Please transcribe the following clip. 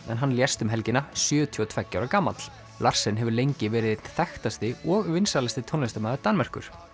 en hann lést um helgina sjötíu og tveggja ára gamall hefur lengi verið einn þekktasti og vinsælasti tónlistarmaður Danmerkur